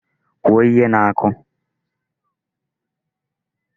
Kwuo ihe na-akụ!